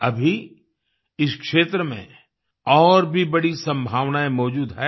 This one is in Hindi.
अभी इस क्षेत्र में और भी बड़ी संभावनाएं मौजूद हैं